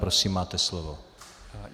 Prosím, máte slovo.